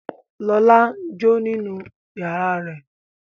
Lọlá n jó nínú yàrá rẹ̀